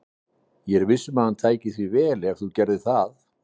Ég er viss um að hann tæki því vel ef þú gerðir það.